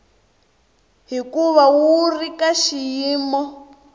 hikuva wu ri ka xiyimo